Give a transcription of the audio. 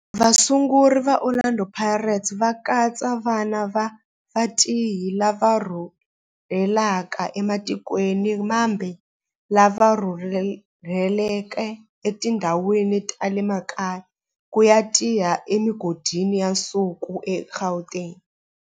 Vasunguri va Orlando Pirates va katsa vana va vatirhi lava rhurhelaka ematikweni mambe lava rhurheleke etindhawini ta le makaya ku ya tirha emigodini ya nsuku eGauteng.